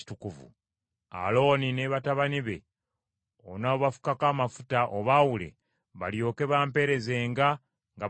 “Alooni ne batabani be onoobafukako amafuta, obaawule, balyoke bampeerezenga nga bakabona.